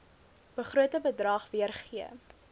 begrote bedrag weergee